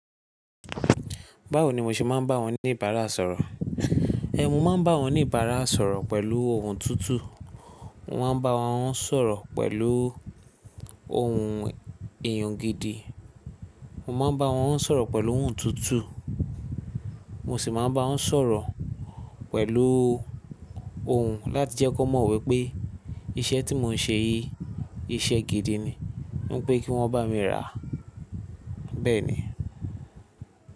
Báwo ni mo ṣe máa ń bá wọn ní ìbáraẹnisọ̀rọ̀? Ẹ̀, mo máa ń bá wọn oníbára sọ̀rọ̀ pẹ̀lú ohùn tútù, mo ma ń bá wọn sọ̀rọ̀ pẹ̀lú ohùn èyàn gidi, mo ma ń bá wọn sọ̀rọ̀ pẹ̀lú ohùn tútù, mo sì máa ń bá wọn sọ̀rọ̀ pẹ̀lú ohùn láti jẹ́ kí wọ́n mọ̀ wípé iṣẹ́ tí mò ń ṣe yìí, iṣẹ́ gidi ni. Mo ń pé kí wọ́n bá mi rà. Bẹ́ẹ̀ ni.